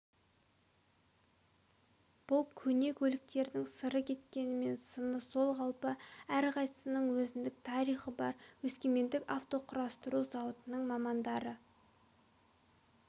бұл көне көліктердің сыры кеткенмен сыны сол қалпы әрқайсысының өзіндік тарихы бар өскемендік автоқұрастыру зауытының мамандары